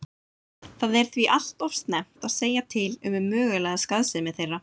Það er því allt of snemmt að segja til um mögulega skaðsemi þeirra.